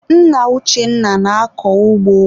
Nna Uchenna na-akọ ugbo.